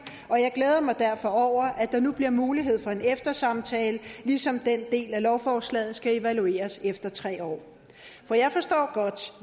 og jeg glæder mig derfor over at der nu bliver mulighed for en eftersamtale ligesom den del af lovforslaget skal evalueres efter tre år for jeg forstår godt